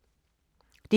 DR2